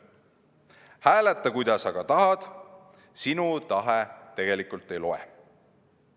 Hääleta, kuidas tahad, sinu tahe tegelikult ei loe.